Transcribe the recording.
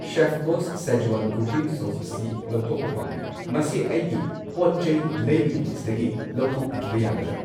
Chef Boss Schezwan cooking sauce ꯑꯁꯤ ꯑꯩ ꯂꯧꯊꯣꯛꯄ ꯄꯥꯝꯃꯤ, ꯃꯁꯤ ꯑꯩꯒꯤ ꯄꯣꯠꯆꯩ ꯂꯩꯕꯒꯤ ꯂꯤꯁꯠꯇꯒꯤ ꯂꯧꯊꯣꯛꯄꯤꯈꯤꯕ ꯌꯥꯒꯗ꯭ꯔ?